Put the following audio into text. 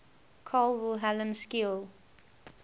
carl wilhelm scheele